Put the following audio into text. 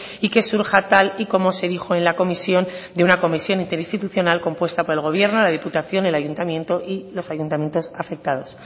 y que surja tal y como se dijo en la comisión de una comisión interinstitucional compuesta por el gobierno la diputación el ayuntamiento y los ayuntamientos afectados